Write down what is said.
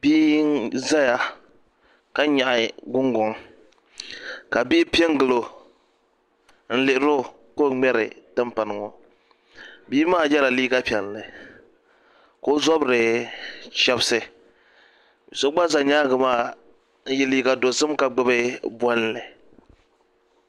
Bia n ʒɛya ka nyaɣa Gungoŋ ka bihi piɛ n gilo n lihiro ka o ŋmɛri timpana ŋo bia maa yɛla liiga piɛlli ka o zabiri chɛbisi so gba ʒɛ nyaangi maa n yɛ liiga dozim ka gbubi bolli